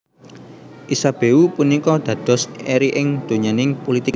Isabeau punika dados eri ing donyaning pulitik